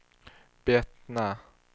Bettna